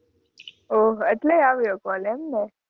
ઓહ એટલે આવ્યો કોલ એમને?